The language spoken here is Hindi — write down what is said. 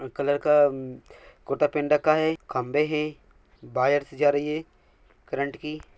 कलर का कुरता पहन रखा है खम्भे है वायर सी जा रही है करंट की।